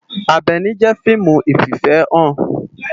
Abèni jé fiimú ififèhán